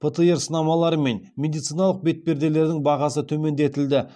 птр сынамалары мен медициналық бетперделердің бағасы төмендетілді